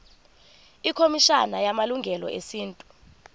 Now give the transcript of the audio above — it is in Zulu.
ikhomishana yamalungelo esintu